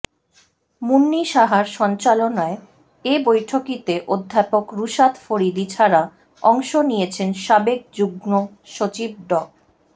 মুন্নী সাহার সঞ্চালনায় এ বৈঠকিতে অধ্যাপক রুশাদ ফরিদী ছাড়া অংশ নিয়েছেন সাবেক যুগ্ম সচিব ড